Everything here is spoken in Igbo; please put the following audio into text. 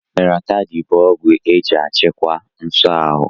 Loratiday bụ ọgwụ eji achịkwa nso aru